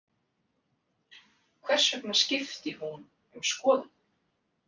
Hvers vegna skipti hún um skoðun?